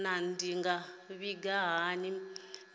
naa ndi nga vhiga hani mbilaelo